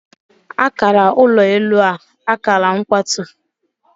Akara ụlọ elu a, akara mkwatu